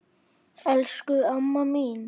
Elsku amma mín!